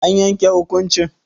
An yanke hukuncin?